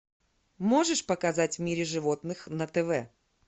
можешь показать в мире животных на тв